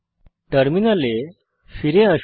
টার্মিনালে ফিরে আসুন